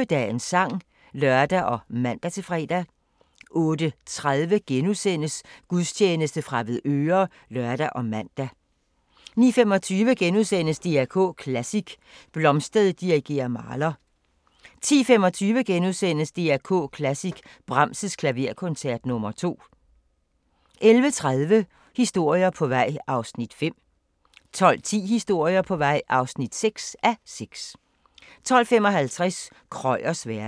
08:25: Dagens sang (lør og man-fre) 08:30: Gudstjeneste fra Avedøre *(lør og man) 09:25: DR K Klassisk: Blomstedt dirigerer Mahler * 10:25: DR K Klassisk: Brahms' Klaverkoncert nr. 2 * 11:30: Historier på vej (5:6) 12:10: Historier på vej (6:6) 12:55: Krøyers verden